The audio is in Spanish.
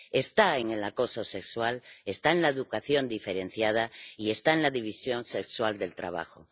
está en el acoso sexual, está en la educación diferenciada y está en la división sexual del trabajo.